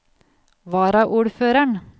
varaordføreren